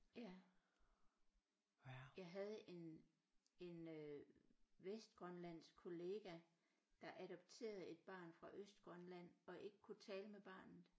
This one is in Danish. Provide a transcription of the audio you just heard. Ja jeg havde en en øh vestgrønlandsk kollega der adopterede et barn fra Østgrønland og ikke kunne tale med barnet